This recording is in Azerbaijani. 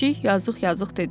Pişik yazıq-yazıq dedi.